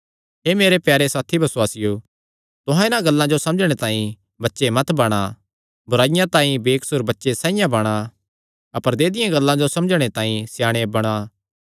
हे मेरे प्यारे साथी बसुआसियो तुहां इन्हां गल्लां जो समझणे तांई बच्चे मत बणा बुराईया तांई तां बेकसूर बच्चे साइआं बणा अपर ऐदिआं गल्लां जो समझणे तांई स्याणे बणा